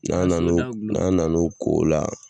N'an na n'o n'an na n'o ko o la